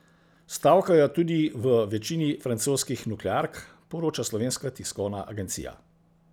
Stavkajo tudi v večini francoskih nukleark, poroča Slovenska tiskovna agencija.